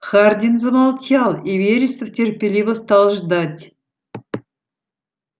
хардин замолчал и вересов терпеливо стал ждать